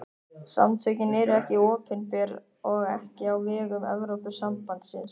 Samtökin eru ekki opinber og ekki á vegum Evrópusambandsins.